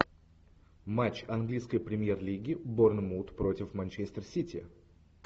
матч английской премьер лиги борнмут против манчестер сити